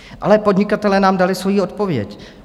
Ale podnikatelé nám dali svoji odpověď.